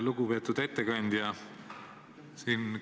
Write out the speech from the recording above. Lugupeetud ettekandja!